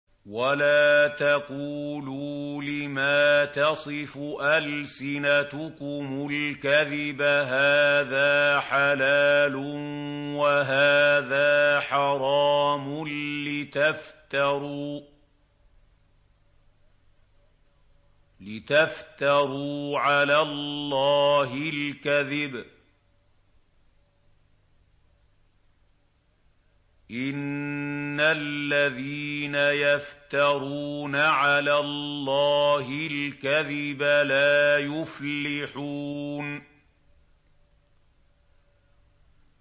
وَلَا تَقُولُوا لِمَا تَصِفُ أَلْسِنَتُكُمُ الْكَذِبَ هَٰذَا حَلَالٌ وَهَٰذَا حَرَامٌ لِّتَفْتَرُوا عَلَى اللَّهِ الْكَذِبَ ۚ إِنَّ الَّذِينَ يَفْتَرُونَ عَلَى اللَّهِ الْكَذِبَ لَا يُفْلِحُونَ